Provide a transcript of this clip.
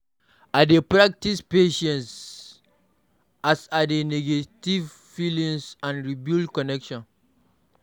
I dey practice patience as I dey navigate feelings and rebuild connections.